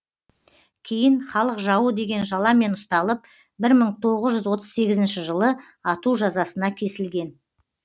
кейін халык жауы деген жаламен ұсталып бір мың тоғыз жүз отыз сегізінші жылы ату жазасына кесілген